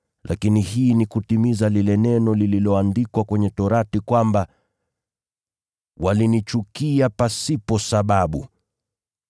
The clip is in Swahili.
Lakini hii ni kutimiza lile neno lililoandikwa kwenye Sheria kwamba, ‘Walinichukia pasipo sababu.’